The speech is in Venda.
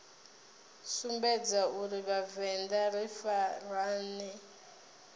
sumbedza uri vhavenḓa ri farane